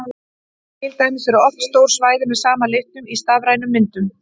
Til dæmis eru oft stór svæði með sama litnum í stafrænum myndum.